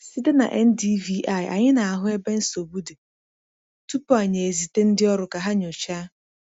Site na NDVI, anyị na-ahụ ebe nsogbu dị tupu anyị ezite ndị ọrụ ka ha nyochaa.